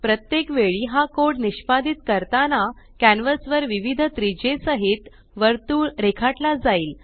प्रत्येक वेळी हा कोड निष्पादीत करताना कॅन्वस वर विविध त्रिज्ये सहित वर्तुळ रेखाटला जाईल